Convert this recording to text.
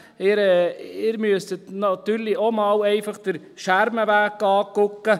Sie müssten sich natürlich auch einfach mal den Schermenweg anschauen gehen.